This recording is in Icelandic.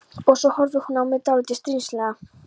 Og svo horfir hún á mig dálítið stríðnislega.